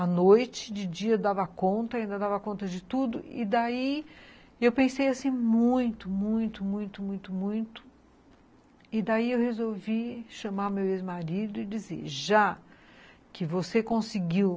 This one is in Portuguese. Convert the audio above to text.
A noite de dia dava conta, ainda dava conta de tudo e daí eu pensei assim muito, muito, muito, muito, muito e daí eu resolvi chamar meu ex-marido e dizer, já que você conseguiu